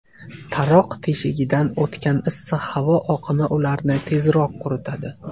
Taroq teshigidan o‘tgan issiq havo oqimi ularni tezroq quritadi.